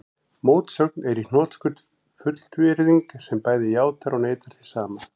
Mótsögn er í hnotskurn fullyrðing sem bæði játar og neitar því sama.